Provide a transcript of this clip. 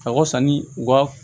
A ka sanni u ka